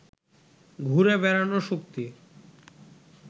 ঘুরে বেড়ানোর শক্তি